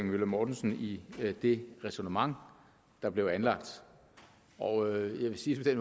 møller mortensen i det ræsonnement der blev anlagt og jeg vil sige det